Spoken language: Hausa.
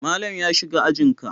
Malam ya shiga ajin ka?